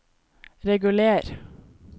reguler